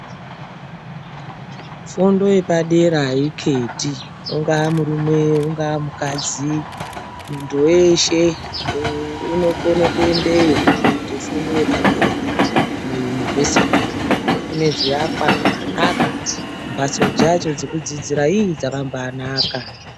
Fundo yepadera aikheti ungaa murume ungaamukadzi, munhu weshe unokone kuendewo kooita fundo yepadera, kumayunivhesiti uko. Kunenge kune zviakwa zvakanaka, mhatso dzacho dzekudzidzira iiii dzakambaanakalm.